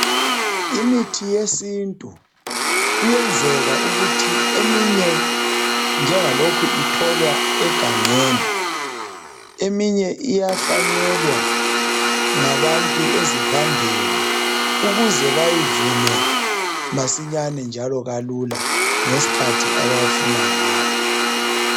Imithi yesintu kuyenzeka ukuthi eminye njengalokhu itholwa egangeni, eminye iyahlanyelwa ngabantu ezivandeni ukuze bayivune masinyane njalo kalula ngesikhathi abafuna ngayo.